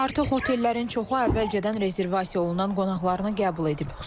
Artıq otellərin çoxu əvvəlcədən rezervasiya olunan qonağını qəbul edib.